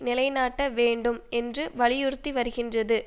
நிலை நாட்ட வேண்டும் என்று வலியுறுத்தி வருகின்றது